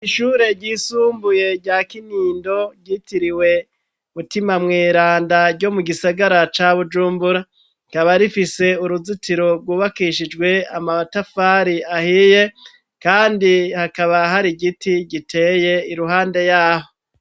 Ishure ryisumbuye rya Kinindo ryitiriwe mutima mweranda ryo mu gisagara ca Bujumbura rikaba rifise uruzitiro rwubakishijwe amatafari ahiye kandi hakaba hari igiti giteye iruhande yaho.